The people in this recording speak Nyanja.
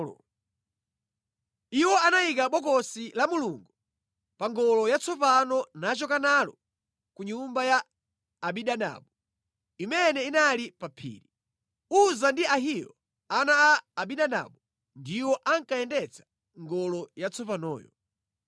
Iwo anayika Bokosi la Mulungu pa ngolo yatsopano nachoka nalo ku nyumba ya Abinadabu, imene inali pa phiri. Uza ndi Ahiyo ana a Abinadabu ndiwo ankayendetsa ngolo yatsopanoyo,